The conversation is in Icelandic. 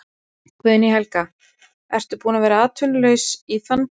Guðný Helga: Ertu búin að vera atvinnulaus í, í þann tíma?